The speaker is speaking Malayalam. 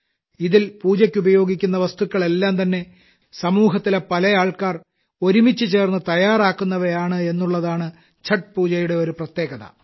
ഇതിൽ പൂജയ്ക്കുപയോഗിക്കുന്ന വസ്തുക്കളെല്ലാംതന്നെ സമൂഹത്തിലെ പല ആൾക്കാർ ഒരുമിച്ചു ചേർന്നു തയ്യാറാക്കുന്നവയാണ് എന്നുള്ളതാണ് ഛഠ് പൂജയുടെ ഒരു പ്രത്യേകത